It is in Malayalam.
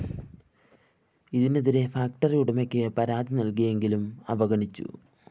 ഇതിനെതിരെ ഫാക്ടറി ഉടമയ്ക്ക് പരാതി നല്‍കിയെങ്കിലും അവഗണിച്ചു